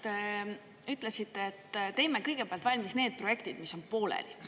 Te ütlesite, et teeme kõigepealt valmis need projektid, mis on pooleli.